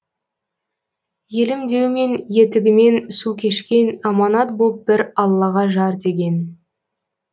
елім деумен етігімен су кешкен аманат боп бір аллаға жар деген